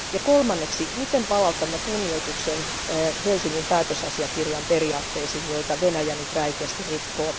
Kolmanneksi, miten palautamme kunnioituksen Helsingin päätösasiakirjan periaatteisiin, joita Venäjä nyt räikeästi rikkoo?